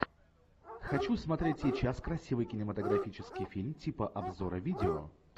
хочу смотреть сейчас красивый кинематографический фильм типа обзора видео